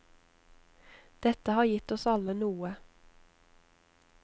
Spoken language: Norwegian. Dette har gitt oss alle noe.